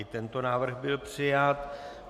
I tento návrh byl přijat.